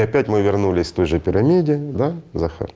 и опять мы вернулись той же пирамиде да захар